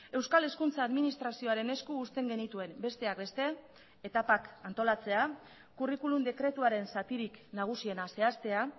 euskal hezkuntza administrazioaren esku uzten genituen besteak beste etapak antolatzea curriculum dekretuaren zatirik nagusiena zehaztea